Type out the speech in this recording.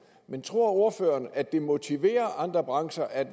men tror ordføreren at det motiverer andre brancher at